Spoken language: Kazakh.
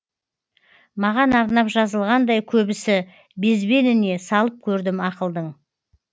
маған арнап жазылғандай көбісі безбеніне салып көрдім ақылдың